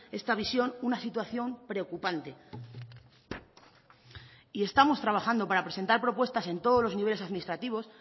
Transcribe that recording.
esta visión una situación preocupante estamos trabajando para presentar propuestas en todos los niveles administrativos